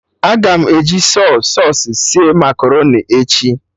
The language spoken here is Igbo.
Aga m eji Sọy sausụ sie makaroni echi